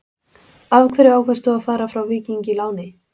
Af hverju ákvaðst þú að fara frá Víking á láni?